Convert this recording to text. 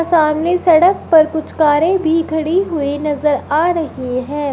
सामने सड़क पर कुछ कारे भी खड़ी हुई नजर आ रही हैं।